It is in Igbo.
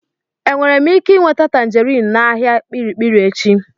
Enwere m ike nweta tanjerin n'ahịa kpirikpiri echi?